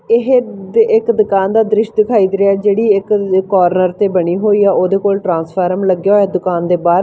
ਇਹ ਤੇ ਇੱਕ ਦੁਕਾਨ ਦਾ ਦ੍ਰਿਸ਼ ਦਿਖਾਈ ਦੇ ਰਿਆ ਜਿਹੜੀ ਇੱਕ ਕਾਰਨਰ ਤੇ ਬਣੀ ਹੋਈ ਆ ਉਹਦੇ ਕੋਲ ਟ੍ਰਾਂਸਫਾਰਮ ਲੱਗਿਆ ਹੋਇਆ ਦੁਕਾਨ ਦੇ ਬਾਹਰ।